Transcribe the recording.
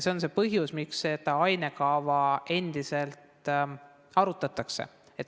See on see põhjus, miks seda ainekava endiselt arutatakse.